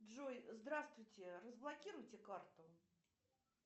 джой здравствуйте разблокируйте карту